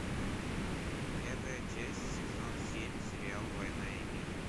пятая часть сезон семь сериал война и мир